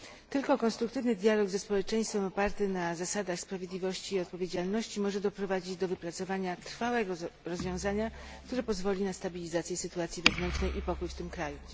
Tylko konstruktywny dialog ze społeczeństwem, oparty na zasadach sprawiedliwości i odpowiedzialności, może doprowadzić do wypracowania trwałego rozwiązania, które pozwoli na stabilizację sytuacji wewnętrznej i pokój w tym kraju.